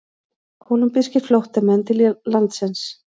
Kólumbískir flóttamenn til landsins